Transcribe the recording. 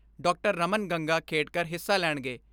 Raman Gangakhedkar ਹਿੱਸਾ ਲੈਣਗੇ।